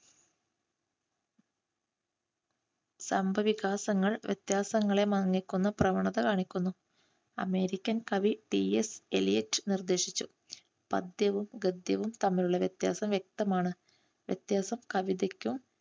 സംഭവവികാസങ്ങൾ വ്യത്യാസങ്ങളെ മാനിക്കുന്ന പ്രവണത കാണിക്കുന്നു. അമേരിക്കൻ കവി ടിഎസ് എലിയറ്റ് നിർദ്ദേശിച്ചു. പദ്യവും ഗദ്യവും തമ്മിലുള്ള വ്യത്യാസം വ്യക്തമാണ്. വ്യത്യാസം കവിതയ്ക്കും